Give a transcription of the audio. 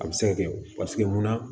A bɛ se ka kɛ paseke munna